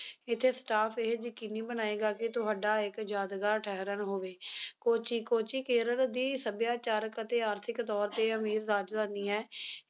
ਇੱਥੇ staff ਏਹੇ ਯਕੀਨੀ ਬਣਾਏਗਾ ਕਿ ਤੁਹਾਡਾ ਇੱਕ ਯਾਦਗਾਰ ਠਹਿਰਣ ਹੋਵੇ ਕੋਚੀ ਕੇਰਲ ਦੀ ਸੱਭਿਆਚਾਰਕ ਅਤੇ ਆਰਥਿਕ ਤੌਰ ਤੇ ਅਮੀਰ ਰਾਜਧਾਨੀ ਹੈ